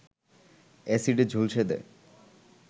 এ্যাসিডে ঝলসে দেয়